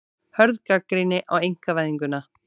Hörð gagnrýni á einkavæðinguna